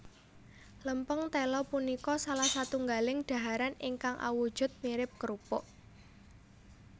Lèmpèng téla punika salah satunggaling daharan ingkang awujud mirip krupuk